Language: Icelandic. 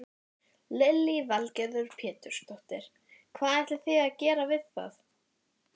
Hermaðurinn lét hann umhyggjusamlega niður á gólfið.